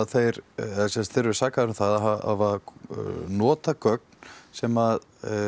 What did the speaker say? þeir eru sakaðir um það að nota gögn sem